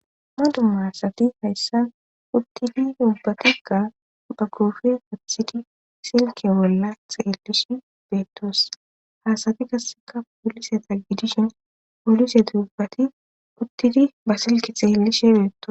maduma haasati hayssan uttidi duubbatiga ba kuufe uthidi silke bolla xaelishi beettos haasati gasseka poolise taggidishin polise duubbati uttidi ba silkethe helishebeeto